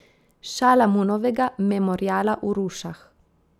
Šalamunovega memoriala v Rušah.